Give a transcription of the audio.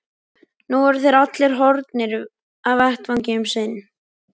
Nú voru þeir allir horfnir af vettvangi um sinn.